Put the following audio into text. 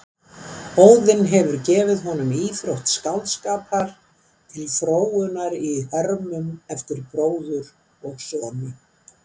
Óðinn hefur gefið honum íþrótt skáldskapar til fróunar í hörmum eftir bróður og sonu.